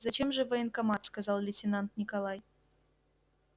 зачем же в военкомат сказал лейтенант николай